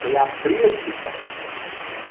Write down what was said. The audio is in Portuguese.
Foi abrir a discussão.